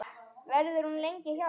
Verður hún lengi hjá þér?